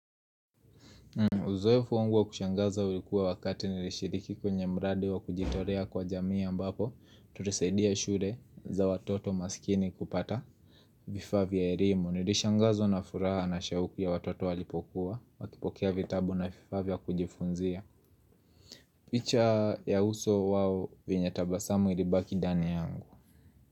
Uzoefu wangu wa kushangaza ulikuwa wakati nilishiriki kwenye mradi wa kujitolea kwa jamii ambapo, tulisaidia shule za watoto maskini kupata. Vifaa vya elimu, nilishangazwa na furaha na shauku ya watoto walipokuwa, wakipokea vitabu na vifaa vya kujifunzia. Picha ya uso wao venye tabasamu ilibaki ndani yangu.